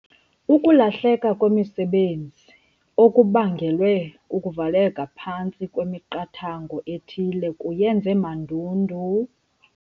Ukulahleka kwemisebenzi okubangelwe kukuvaleka phantsi kwemiqathango ethile kuyenze mandundu.